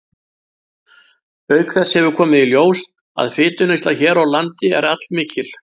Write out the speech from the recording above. Auk þess hefur komið í ljós, að fituneysla hér á landi er allmikil.